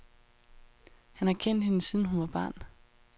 Han har kendt hende, siden hun var barn.